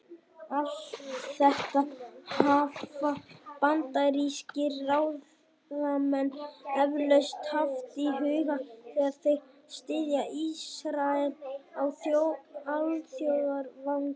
Allt þetta hafa bandarískir ráðamenn eflaust haft í huga, þegar þeir styðja Ísrael á alþjóðavettvangi.